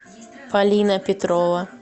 полина петрова